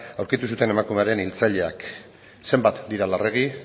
aurkitu zuten emakumearen hiltzaileak zenbat dira larregi